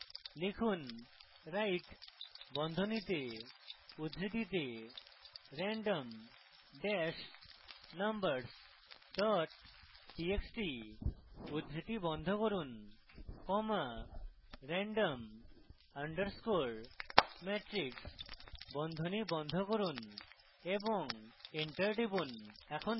লিখুন write বন্ধনীতে উদ্ধৃতিতে random dash numbers dot txt উদ্ধৃতি বন্ধ করুন comma random underscore matrix বন্ধনী বন্ধ করুন এবং enter টিপুন